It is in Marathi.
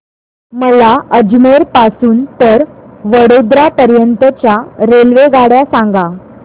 मला अजमेर पासून तर वडोदरा पर्यंत च्या रेल्वेगाड्या सांगा